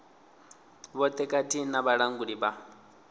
vhoṱhe khathihi na vhalanguli vha